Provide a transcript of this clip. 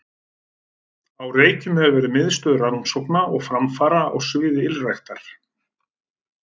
Á Reykjum hefur verið miðstöð rannsókna og framfara á sviði ylræktar.